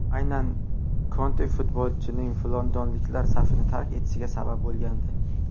Aynan Konte futbolchining londonliklar safini tark etishiga sabab bo‘lgandi.